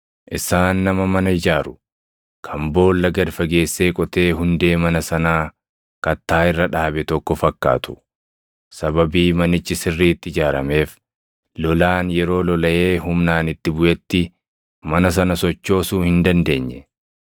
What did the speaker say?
Isaan nama mana ijaaru, kan boolla gad fageessee qotee hundee mana sanaa kattaa irra dhaabe tokko fakkaatu. Sababii manichi sirriitti ijaarameef, lolaan yeroo lolaʼee humnaan itti buʼetti mana sana sochoosuu hin dandeenye.